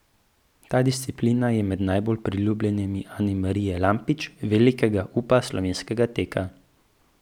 Ta disciplina je med najbolj priljubljenimi Anamarije Lampič, velikega upa slovenskega teka.